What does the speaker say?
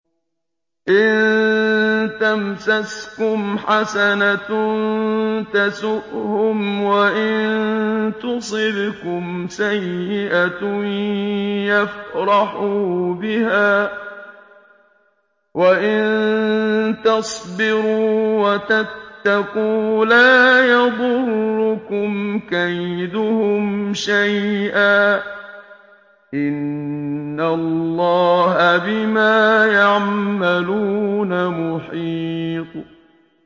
إِن تَمْسَسْكُمْ حَسَنَةٌ تَسُؤْهُمْ وَإِن تُصِبْكُمْ سَيِّئَةٌ يَفْرَحُوا بِهَا ۖ وَإِن تَصْبِرُوا وَتَتَّقُوا لَا يَضُرُّكُمْ كَيْدُهُمْ شَيْئًا ۗ إِنَّ اللَّهَ بِمَا يَعْمَلُونَ مُحِيطٌ